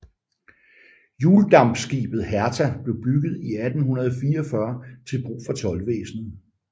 Hjuldampskibet Hertha blev bygget i 1844 til brug for toldvæsenet